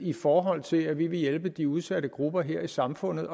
i forhold til at vi vil hjælpe de udsatte grupper her i samfundet